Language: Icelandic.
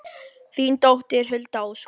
Þín dóttir, Hulda Ósk.